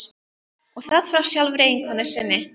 Og það frá sjálfri eiginkonu sinni.